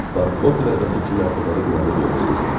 Bax o qıraqdakı iki mərtəbəli binanı görürsüz?